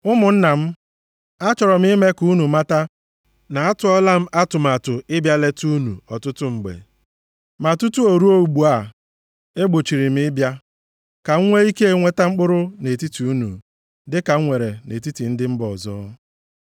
Ụmụnna m, achọrọ m ime ka unu mata na atụọla m atụmatụ ịbịa leta unu ọtụtụ mgbe (ma tutu ruo ugbu a e gbochiri m ịbịa), ka m nwee ike nweta mkpụrụ nʼetiti unu, dịka m nwere nʼetiti ndị mba ọzọ.